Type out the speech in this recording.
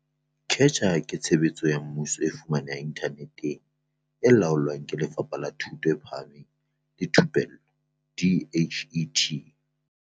CACH ke tshebeletso ya mmuso e fumanehang inthaneteng e laolwang ke Lefapha la Thuto e Phahameng le Thupello, DHET.